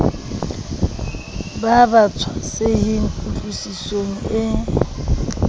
ba ba tshwasehe kutlwisisong e